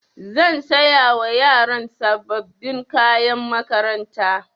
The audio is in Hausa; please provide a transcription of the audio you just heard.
Zan saya wa yaran sababbin kayan makaranta.